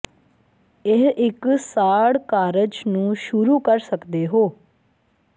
ਇਹ ਇੱਕ ਸਾੜ ਕਾਰਜ ਨੂੰ ਸ਼ੁਰੂ ਕਰ ਸਕਦੇ ਹੋ